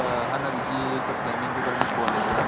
એક બીજી હે ને બીજી એક planning ઉપર ની calling હે.